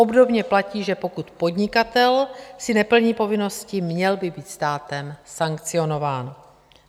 Obdobně platí, že pokud podnikatel si neplní povinnosti, měl by být státem sankcionován.